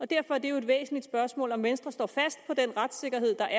derfor er det jo et væsentligt spørgsmål nemlig om venstre står fast på den retssikkerhed der